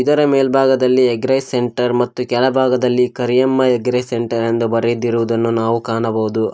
ಇದರ ಮೇಲ್ಭಾಗದಲಿ egg rice centre ಮತ್ತು ಕೆಳಭಾಗದಲ್ಲಿ ಕರಿಯಮ್ಮ ಎಗ್ ರೈಸ್ ಸೆಂಟರ್ ಎಂದು ಬರಿದಿರುವುದನ್ನು ನಾವು ಕಾಣಬಹುದು.